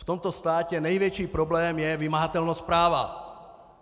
V tomto státě největší problém je vymahatelnost práva.